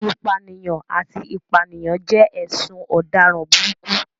Ìpànìyàn àti ìpànìyàn jẹ́ ẹ̀sùn ọ̀daràn burúkú.